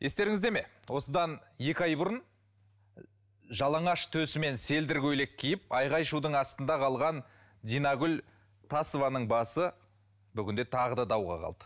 естеріңізде ме осыдан екі ай бұрын жалаңаш төсімен селдір көйлек киіп айғай шудың астында қалған динагүл тасованың басы бүгінде тағы да дауға қалды